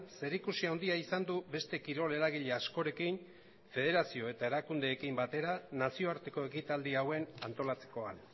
zerikusi handia izan du beste kirol eragile askorekin federazio eta erakundeekin batera nazioarteko ekitaldia hauen antolatzekoan